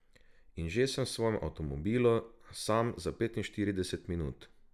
In že sem v svojem avtomobilu, sam za petinštirideset minut.